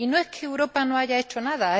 Y no es que Europa no haya hecho nada.